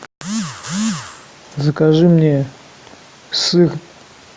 закажи мне сыр